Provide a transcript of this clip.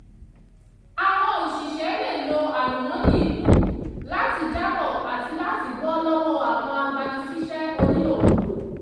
àwọn òṣìṣẹ́ lè lo àlùmọ́nì ìlú láti jábọ̀ àti láti bọ́ lọ́wọ́ àwọn agbani síṣẹ́ onílòkulò